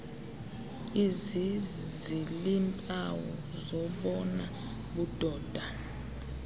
eziziiimpawu zobona budoda